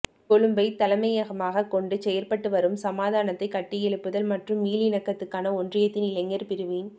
கொழும்பைத் தலைமையகமாகக் கொண்டு செயற்பட்டு வரும் சமாதானத்தைக் கட்டியெழுப்புதல் மற்றும் மீளிணக்கத்துக்கான ஒன்றியத்தின் இளைஞர் பிரிவின்